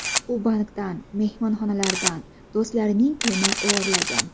U bankdan, mehmonxonalardan, do‘stlarining pulini o‘g‘irlagan.